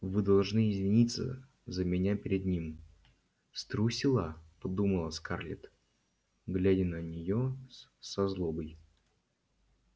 вы должны извиниться за меня перед ним струсила подумала скарлетт глядя на неё со злобой